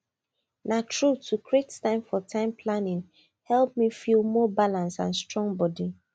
na true to create time for time planning help me feel more balanced and strong body